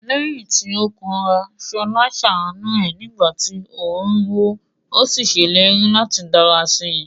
Lẹ́yìn tí ó kanra, Ṣọlá ṣàánú ẹ̀ nígbà tí oòrùn wọ̀, ó sì ṣèlérí láti dára sí i.